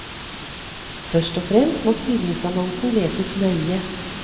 Først og fremst må stillingsannonsen leses nøye.